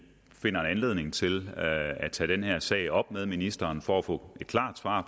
finder anledning til at tage den her sag op med ministeren for at få et klart svar